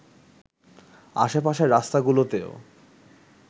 আশে-পাশের রাস্তাগুলোতেও